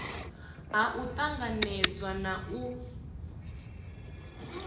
ha u tanganedza na u